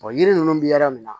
yiri ninnu bɛ yɔrɔ min na